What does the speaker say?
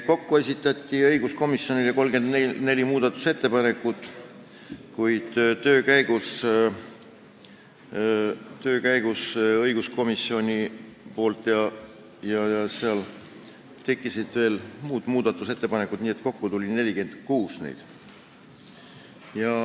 Kokku esitati õiguskomisjonile 34 muudatusettepanekut, kuid töö käigus tekkisid õiguskomisjonil ja ka veel muud muudatusettepanekud, nii et kokku tuli neid 46.